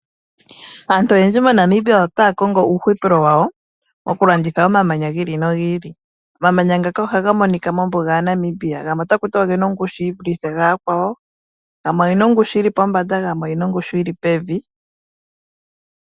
Aantu oyendji moNamibia otaa ka kongo uuhupilo wawo okulanditha omamanya gi ili nogi ili omamanya ngaka ohaga monika mombuga yaNamibia gamwe otaku tiwa oge na omgushu yi vule omakwawo gamwe oge na ,ongushu yili pombanda gamwe oge na ongushu yi li pevi .